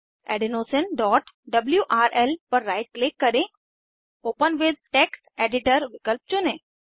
adenosineडब्ल्यूआरएल पर right click करेंOpen with text editor विकल्प चुनें